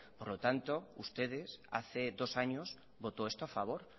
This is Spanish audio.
por lo tanto ustedes hace dos años votó esto a favor